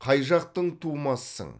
қай жақтың тумасысың